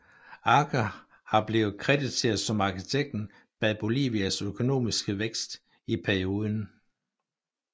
Arce har blevet krediteret som arkitekten bag Bolivias økonomiske vækst i perioden